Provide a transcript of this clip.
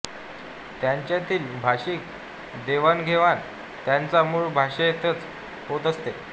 त्यांच्यातील भाषिक देवाणघेवाण त्यांच्या मूळ भाषेतच होत असते